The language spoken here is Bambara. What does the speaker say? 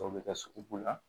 Dɔw bɛ kɛ sugubɛ